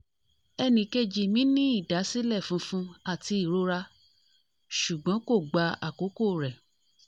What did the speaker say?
ẹnìkejì mi ní ìdásílẹ̀ funfun àti ìrora ṣùgbọ́n kò gba àkókò rẹ̀